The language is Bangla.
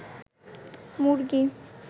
মুরগী